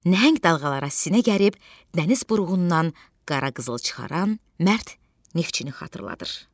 Nəhəng dalğalara sinə gəlib, dəniz buruğundan qara qızıl çıxaran mərd neftçini xatırladır.